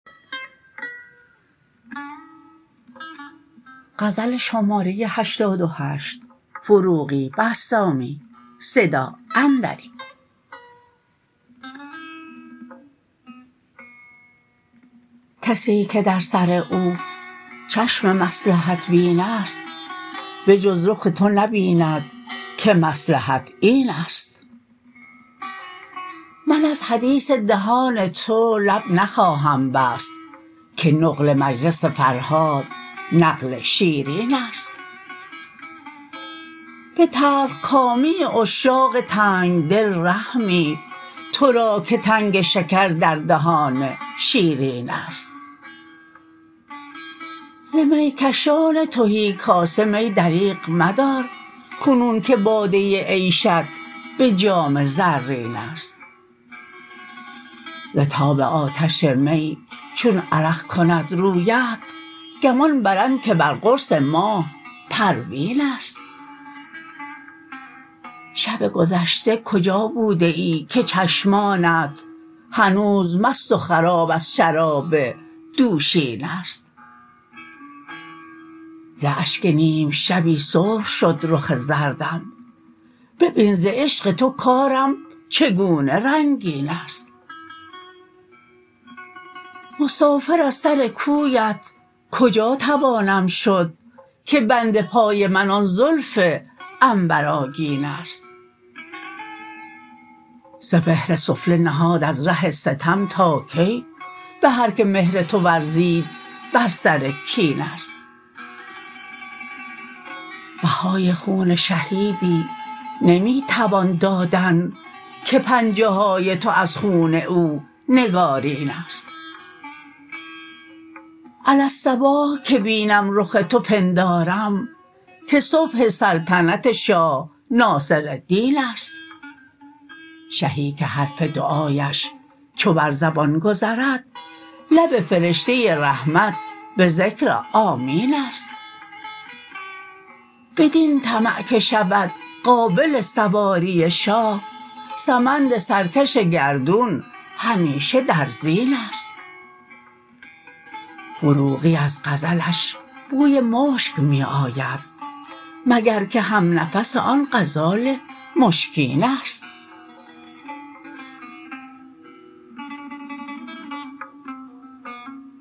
کسی که در سر او چشم مصلحت بین است بجز رخ تو نبیند که مصلحت این است من از حدیث دهان تو لب نخواهم بست که نقل مجلس فرهاد نقل شیرین است به تلخ کامی عشاق تنگ دل رحمی تو را که تنگ شکر در دهان شیرین است ز می کشان تهی کاسه می دریغ مدار کنون که باده عیشت به جام زرین است ز تاب آتش می چون عرق کند رویت گمان برند که بر قرص ماه پروین است شب گذشته کجا بوده ای که چشمانت هنوز مست و خراب از شراب دوشین است ز اشک نیم شبی سرخ شد رخ زردم ببین ز عشق تو کارم چگونه رنگین است مسافر از سر کویت کجا توانم شد که بند پای من آن زلف عنبرآگین است سپهر سفله نهاد از ره ستم تا کی به هر که مهر تو ورزید بر سر کین است بهای خون شهیدی نمی توان دادن که پنجه های تو از خون او نگارین است علی الصباح که بینم رخ تو پندارم که صبح سلطنت شاه ناصرالدین است شهی که حرف دعایش چو بر زیان گذرد لب فرشته رحمت به ذکر آمین است بدین طمع که شود قابل سواری شاه سمند سرکش گردون همیشه در زین است فروغی از غزلش بوی مشک می آید مگر که هم نفس آن غزال مشکین است